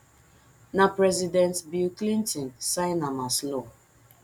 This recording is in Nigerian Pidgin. na president bill clinton sign am as law